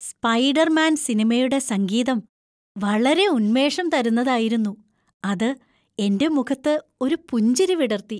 Spiderman സിനിമയുടെ സംഗീതം വളരെ ഉന്മേഷം തരുന്നതായിരുന്നു, അത് എന്‍റെ മുഖത്ത് ഒരു പുഞ്ചിരി വിടർത്തി.